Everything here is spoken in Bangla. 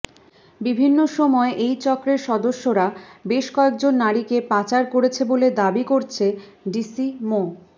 বিভিন্ন সময় এই চক্রের সদস্যরা বেশ কয়েকজন নারীকে পাচার করেছে বলে দাবি করছে ডিসি মো